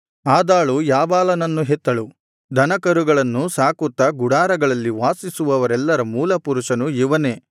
ಆದಾಳು ಯಾಬಾಲನನ್ನು ಹೆತ್ತಳು ದನಕರುಗಳನ್ನು ಸಾಕುತ್ತಾ ಗುಡಾರಗಳಲ್ಲಿ ವಾಸಿಸುವವರೆಲ್ಲರ ಮೂಲ ಪುರುಷನು ಇವನೇ